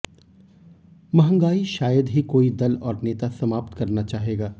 महंगाई शायद ही कोई दल और नेता समाप्त करना चाहेगा